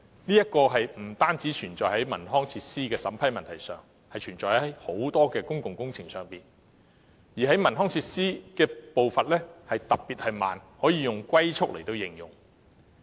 這不單存在於文康設施的審批問題上，亦存在於很多公共工程上，而在文康設施方面的步伐特別緩慢，可以"龜速"來形容。